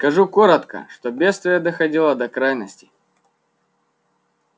скажу коротко что бедствие доходило до крайности